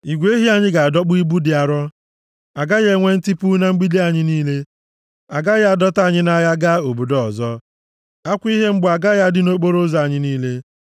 igwe ehi anyị ga-adọkpụ ibu dị arọ. A gaghị enwe ntipu na mgbidi anyị niile, a gaghị adọta anyị nʼagha gaa obodo ọzọ, akwa ihe mgbu agaghị adị nʼokporoụzọ anyị niile.